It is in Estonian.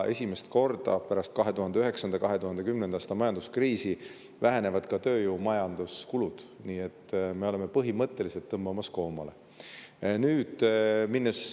Esimest korda pärast 2009.–2010. aasta majanduskriisi vähenevad ka tööjõu‑ ja majanduskulud, nii et me oleme põhimõtteliselt koomale tõmbamas.